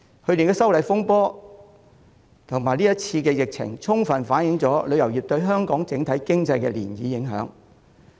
去年的反修例風波和今次疫情充分反映出旅遊業對香港整體經濟的漣漪影響。